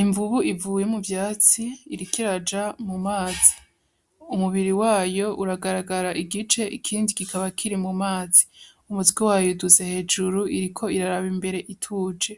Imvubu ivuye mu vyatsi iriko iraja mu mazi, umubiri wayo uragaragara igice ikindi kikaba kiri mu mazi, Umutwe wayo uduze hejuru iriko iraraba imbere ituje